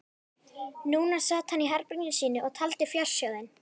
Núna sat hann í herberginu sínu og taldi fjársjóðinn.